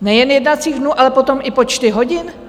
Nejen jednacích dnů, ale potom i počty hodin.